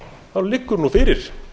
þá liggur nú fyrir